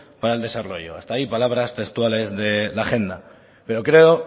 para el desarrollo hasta ahí palabras textuales de la agenda pero creo